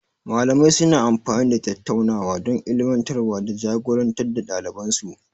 Malamai suna amfani da tattaunawa don ilmantarwa da ja-gorar da ɗaliban su.